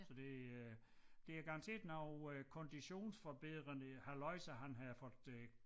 Så det øh det er garanteret noget øh konditionsforbedrende halløjsa han har fået øh